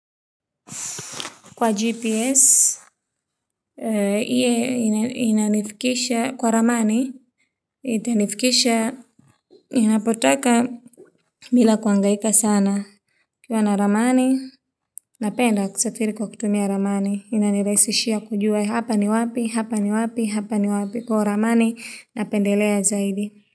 Kwa GPS, iye inanifikisha kwa ramani, itanifikisha, inapotaka bila kuhangaika sana. Ukiwa na ramani, napenda kusafiri kwa kutumia ramani, inanirahisishia kujua hapa ni wapi, hapa ni wapi, hapa ni wapi, kwa hiyo ramani, napendelea zaidi.